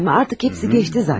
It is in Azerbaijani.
Artıq hamısı keçdi zatən.